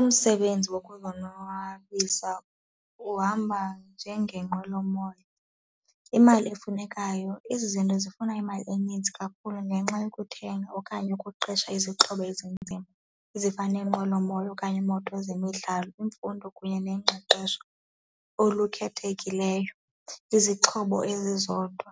Umsebenzi wokuzonwabisa uhamba njengengqwelomoya. Imali efunekayo, ezi zinto zifuna imali eninzi kakhulu ngenxa yokuthenga okanye ukuqesha izixhobo ezinzima ezifana nenqwelomoya okanye iimoto zemidlalo, imfundo kunye nengqeqesho olukhethekileyo, izixhobo ezizodwa,